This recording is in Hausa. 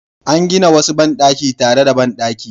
An gina wasu bandaki tare da bandaki